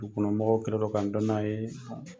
Dugu kɔnɔ mɔgɔw kɛlen don ka n dɔn n'a ye